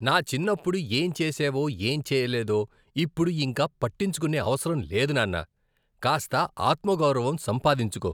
నా చిన్నప్పుడు ఏం చేశావో, ఏం చేయలేదో ఇప్పుడు ఇంక పట్టించుకునే అవసరం లేదు నాన్న. కాస్త ఆత్మగౌరవం సంపాదించుకో!